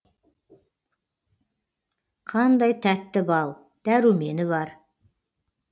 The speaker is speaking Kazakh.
қандай тәтті бал дәрумені бар